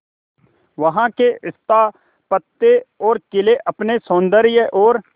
वहां के स्थापत्य और किले अपने सौंदर्य और